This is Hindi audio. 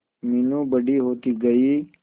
मीनू बड़ी होती गई